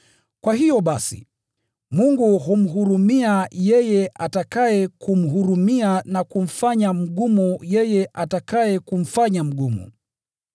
Kwa hiyo basi, Mungu humhurumia yeye atakaye kumhurumia na humfanya mgumu yeye atakaye kumfanya mgumu.